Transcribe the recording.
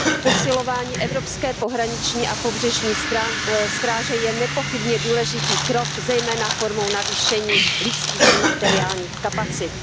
Posilování evropské pohraniční a pobřežní stráže je nepochybně důležitý krok zejména formou navýšení lidských i materiálních kapacit.